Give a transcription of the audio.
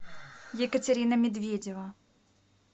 екатерина медведева